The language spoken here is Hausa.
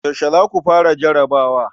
Yaushe za ku fara jarabawa?